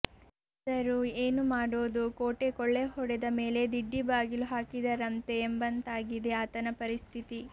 ಆದರೂ ಏನು ಮಾಡೋದು ಕೋಟೆ ಕೊಳ್ಳೆ ಹೊಡೆದ ಮೇಲೆ ದಿಡ್ಡಿ ಬಾಗಿಲು ಹಾಕಿದರಂತೆ ಎಂಬಂತಾಗಿದೆ ಆತನ ಪರಿಸ್ಥಿತಿ